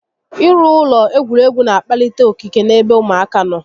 I rụ ụlọ egwuregwu n'akpalite okike n'ebe ụmụaka nọ